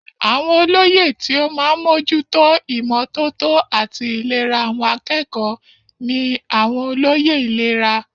Àwọn olóyè tí ó máa ń mójú tó ìmọ́tótó àti ìlera àwọn akẹ́kọ̀ọ́ ní àwọn olóyè ìlera.